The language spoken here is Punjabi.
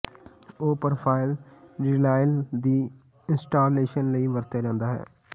ਉਹ ਪ੍ਰੋਫ਼ਾਈਲ ਿਰਾਈਿਾਲ ਦੀ ਇੰਸਟਾਲੇਸ਼ਨ ਲਈ ਵਰਤਿਆ ਜਾਦਾ ਹੈ